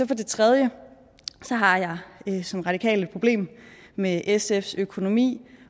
det tredje har jeg som radikal et problem med sfs økonomi